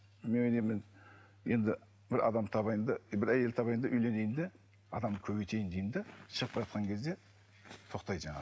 неменемен енді бір адам табайын да бір әйел табайын да үйленейін де адамды көбейтейін деймін де шығып бара жатқан кезде тоқтайды жаңағы